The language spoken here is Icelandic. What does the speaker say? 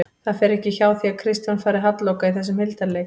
Það fer ekki hjá því að Kristján fari halloka í þessum hildarleik